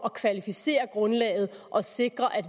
at kvalificere grundlaget og sikre at